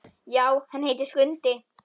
Já, hann heitir Skundi.